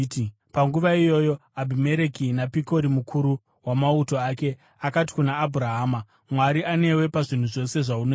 Panguva iyoyo Abhimereki naPikori mukuru wamauto ake, akati kuna Abhurahama, “Mwari anewe pazvinhu zvose zvaunoita.